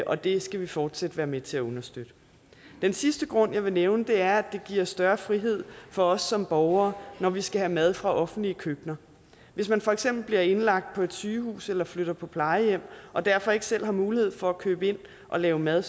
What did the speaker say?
og det skal vi fortsat være med til at understøtte den sidste grund jeg vil nævne er at det giver større frihed for os som borgere når vi skal have mad fra offentlige køkkener hvis man for eksempel bliver indlagt på sygehus eller flytter på plejehjem og derfor ikke selv har mulighed for at købe ind og lave mad